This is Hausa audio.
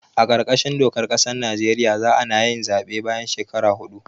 A kar kashin dokar ƙasar Najeriya za anayin zaɓe bayan shekara hudu